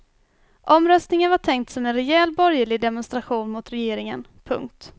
Omröstningen var tänkt som en rejäl borgerlig demonstration mot regeringen. punkt